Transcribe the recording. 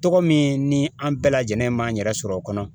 Tɔgɔ min ni an bɛɛ lajɛlen man yɛrɛ sɔrɔ o kɔnɔ